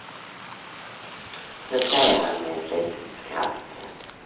Så säger han med ett litet skratt.